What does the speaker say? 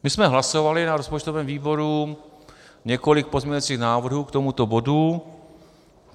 My jsme hlasovali na rozpočtovém výboru několik pozměňovacích návrhů k tomuto bodu.